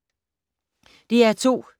DR2